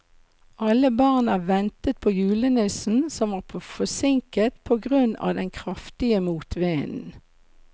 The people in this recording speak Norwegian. Alle barna ventet på julenissen, som var forsinket på grunn av den kraftige motvinden.